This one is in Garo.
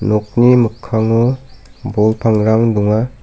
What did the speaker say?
nokni mikkango bol pangrang donga.